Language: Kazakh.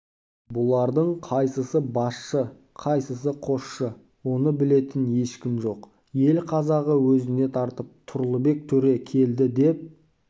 бұлардың қайсысы басшы қайсысы қосшы оны білетін ешкім жоқ ел қазағы өзіне тартып тұрлыбек төре келді деп